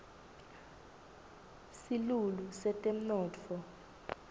silulu setemnotfo